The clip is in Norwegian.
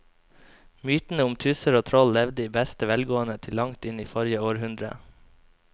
Mytene om tusser og troll levde i beste velgående til langt inn i forrige århundre.